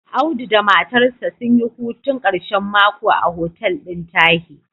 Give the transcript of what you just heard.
Audu da matarsa sun yi hutun ƙashen mako a hotel ɗin Tahi.